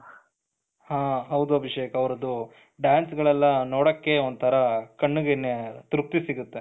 ಹ ಹೌದು ಅಭಿಷೇಕ್ ಅವರದು danceಗಲೆಲ್ಲ ನೋಡಕ್ಕೆ ಒಂತರ ಕಣ್ಣಿಗೆನೆ ತೃಪ್ತಿ ಸಿಗುತ್ತೆ,